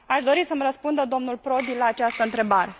Aș dori să mi răspundă domnul Prodi la această întrebare.